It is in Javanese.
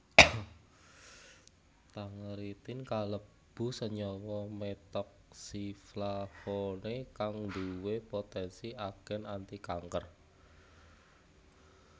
Tangeritin kalebu senyawa methoxyflavone kang nduwé poténsi agén antikanker